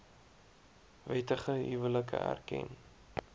wettige huwelike erken